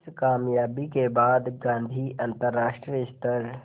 इस क़ामयाबी के बाद गांधी अंतरराष्ट्रीय स्तर